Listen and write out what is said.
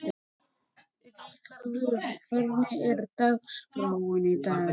Ríkharður, hvernig er dagskráin í dag?